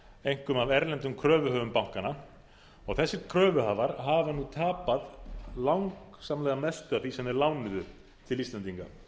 einkum af erlendum kröfuhöfum bankanna og þessir kröfuhafar hafa einmitt tapað langsamlega mestu af því sem þeir lánuðu til íslendinga